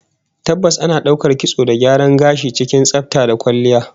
Tabbas, ana daukar kitson da gyaran gashi cikin tsafta da kwalliya